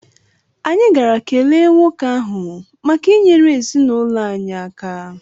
Anyị gara kelee nwoke ahụ maka inyere ezinụlọ anyị aka.